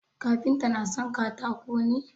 Kafinta na son katako ne?